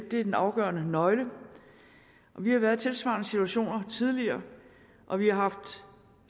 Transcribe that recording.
er den afgørende nøgle vi har været i tilsvarende situationer tidligere og vi har haft